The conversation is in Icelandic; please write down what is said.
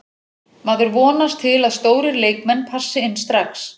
Maður vonast til að stórir leikmenn passi inn strax.